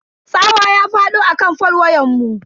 Tsawa ya fado akan fol wayanmu.